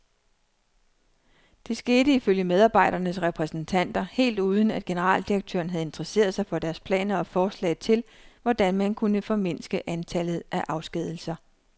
Det skete ifølge medarbejdernes repræsentanter helt uden, at generaldirektøren havde interesseret sig for deres planer og forslag til, hvordan man kunne formindske antallet af afskedigelser.